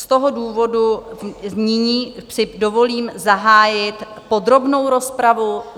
Z toho důvodu nyní si dovolím zahájit podrobnou rozpravu.